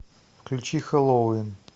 включи хэллоуин